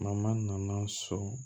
nana so